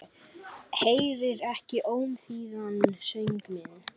Heyrir ekki ómþýðan söng minn.